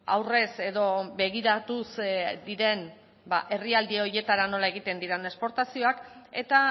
aurrez edo begiratuz diren herrialde horietara nola egiten diren esportazioak eta